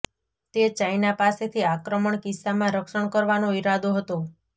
તે ચાઇના પાસેથી આક્રમણ કિસ્સામાં રક્ષણ કરવાનો ઈરાદો હતો